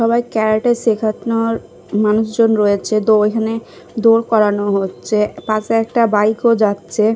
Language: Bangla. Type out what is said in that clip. সবাই ক্যারাটে শেখানোর মানুষজন রয়েছে তো এখানে দৌড় করানো হচ্ছে পাশে একটা বাইক -ও যাচ্ছে।